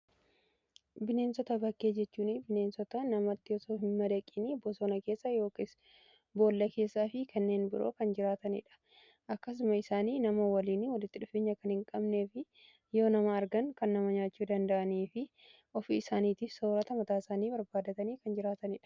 Bineensota bakkee jechuun bineensota namatti otoo hin madaqin bosona keessa yookiin boolla keessaa fi kanneen biroo kan jiraataniidha. Akkasumas nama waliin walitti dhufeenya kan hin qabnee fi yoo nama argan kan nama nyaachuu danda'anii fi ofii isaaniiti soorata mataa isaanii barbaadatanii kan jiraataniidha.